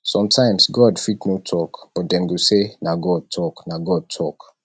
sometimes god fit no talk but dem go say na god talk na god talk